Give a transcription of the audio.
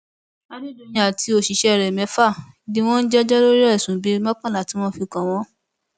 adédọyìn àti àwọn òṣìṣẹ rẹ mẹfà ni wọn ń jẹjọ lórí ẹsùn bíi mọkànlá tí wọn fi kàn wọn